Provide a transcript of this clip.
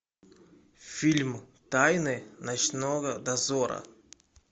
фильм тайны ночного дозора